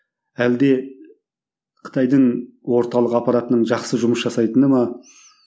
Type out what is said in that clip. әлде қытайдың орталық аппаратының жақсы жұмыс жасайтыны ма